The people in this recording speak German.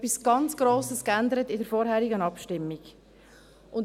Wir haben in der vorherigen Abstimmung etwas ganz Grosses geändert.